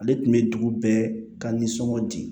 Ale tun bɛ dugu bɛɛ ka nisɔngɔ di